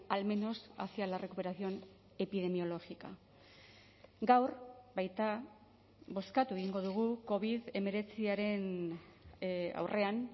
al menos hacia la recuperación epidemiológica gaur baita bozkatu egingo dugu covid hemeretziaren aurrean